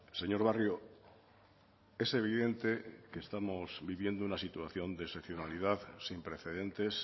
señor barrio es evidente que estamos viviendo una situación de excepcionalidad sin precedentes